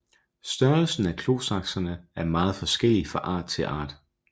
Størrelsen af klosaksene er meget forskellig fra art til art